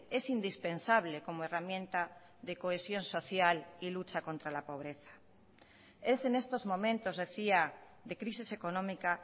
es indispensable como herramienta de cohesión social y lucha contra la pobreza es en estos momentos decía de crisis económica